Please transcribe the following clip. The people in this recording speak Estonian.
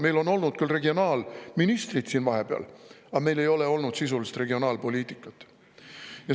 Meil on küll olnud regionaalministrid siin vahepeal, aga meil ei ole olnud sisulist regionaalpoliitikat.